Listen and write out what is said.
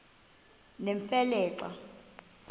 nemfe le xa